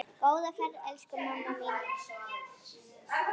Góða ferð, elsku mamma mín.